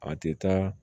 A tɛ taa